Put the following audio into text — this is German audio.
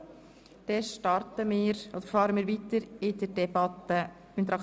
Dann fahren wir mit den Traktanden der JGK fort.